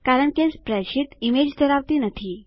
કારણ કે spreadsheet image ધરાવતી નથી